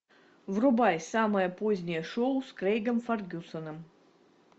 врубай самое позднее шоу с крэйгом фергюсоном